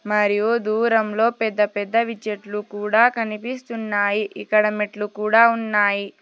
మరియు దూరంలో పెద్ద పెద్దవి చెట్లు కుడా కనిపిస్తున్నాయి ఇక్కడ మెట్లు కుడా ఉన్నాయి.